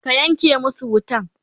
ka Yanke masu wutan!